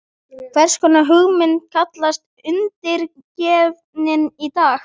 Hvers konar hugmynd kallast Undirgefnin í dag?